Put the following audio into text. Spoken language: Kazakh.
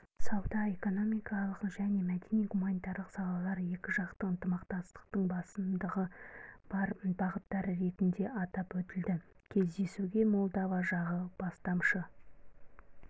сауда-экономикалық және мәдени-гуманитарлық салалар екіжақты ынтымақтастықтың басымдығы бар бағыттары ретінде атап өтілді кездесуге молдова жағы бастамашы